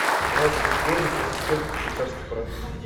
двадцать биткоинов это сколько в швейцарских франках